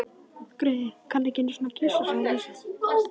Greyið, kann ekki einusinni að kyssa, sagði Lísa.